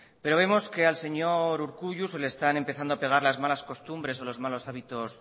pero vemos que al señor urkullu se le están empezando a pegar las malas costumbres o los malos hábitos